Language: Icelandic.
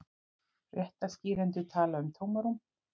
Fréttaskýrendur tala um tómarúm